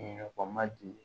ma deli